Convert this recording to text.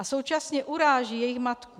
A současně uráží jejich matku.